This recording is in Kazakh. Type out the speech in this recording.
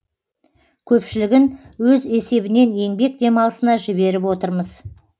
көпшілігін өз есебінен еңбек демалысына жіберіп отырмыз